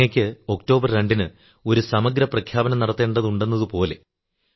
അങ്ങയ്ക്ക് ഒക്ടോബർ 2 ന് ഒരു സമഗ്ര പ്രഖ്യാപനം നടത്തേണ്ടതുണ്ടെന്നതുപോലെ